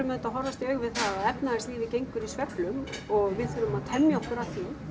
auðvitað að horfast í augu við það að efnahagslífið gengur í sveiflum og við þurfum að temja okkur að því